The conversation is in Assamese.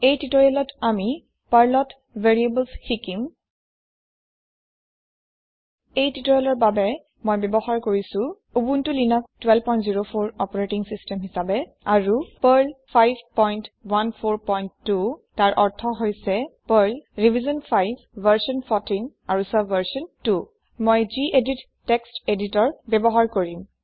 এই টিওটৰিয়েলত আমি শিকিম পাৰ্লত ভেৰিয়েবলছ এই টিওটৰিয়েলৰ বাবে মই ব্যৱহাৰ কৰিছো উবুন্টু লিনাক্স ১২০৪ অপাৰেতিং সিস্টেম আৰু পাৰ্ল ৫১৪২ তাৰ অৰ্থ হৈছে পাৰ্ল ৰিভিশ্যন ৫ ভাৰ্চন ১৪ আৰু ছাবভাৰ্চন ২ মই যিএদিত টেক্সট এদিতৰ ব্যৱহাৰ কৰিম